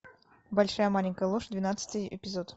большая маленькая ложь двенадцатый эпизод